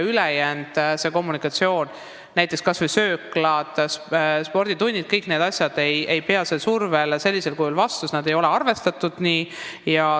Näiteks võtame kas või sööklad ja võimlad – kõik need ei pruugi sellisele survele vastu pidada, sest sellega ei ole arvestatud.